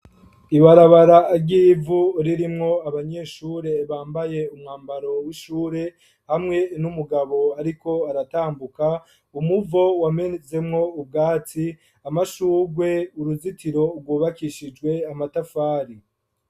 Ibarabara ry'ivu ririmwo abanyeshure bambaye umwambaro w'ishure, hamwe n'umugabo ariko aratambuka. Umuvo wamezemwo ubwatsi amashurwe, uruzitiro rwubakishijwe amatafari.